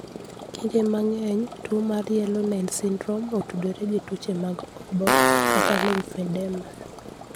Kinde mang'eny, tuwo mar yellow nail syndrome otudore gi tuoche mag obo kata lymphedema.